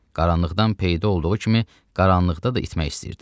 Qaranlıqdan peyda olduğu kimi, qaranlıqda da itmək istəyirdi.